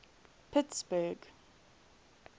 pittsburgh